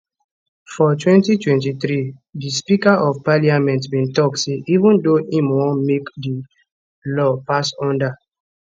for 2023 di speaker of parliament bin tok say even though im wan make di law pass under